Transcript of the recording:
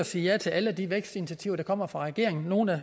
sige ja til alle de vækstinitiativer der kommer fra regeringen nogle er